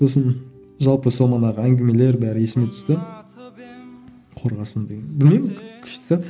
сосын жалпы сол манағы әңгімелер бәрі есіме түсті қорғасын деген білмеймін күшті зат